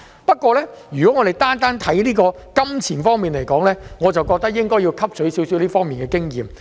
不過，如果我們單看金錢方面，我認為應該要汲取少許這方面的經驗。